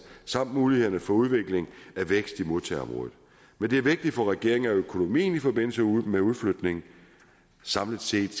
sammen med mulighederne for udvikling af vækst i modtagerområdet men det er vigtigt for regeringen at økonomien i forbindelse med udflytningen samlet set